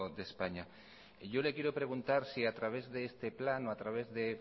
de españa yo le quiero preguntar si a través de este plan o a través de